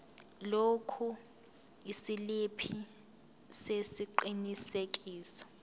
lokhu isiliphi sesiqinisekiso